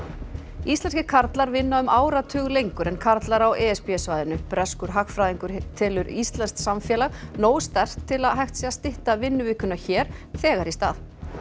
íslenskir karlar vinna um áratug lengur en karlar á e s b svæðinu breskur hagfræðingur telur íslenskt samfélag nógu sterkt til að hægt sé að stytta vinnuvikuna hér þegar í stað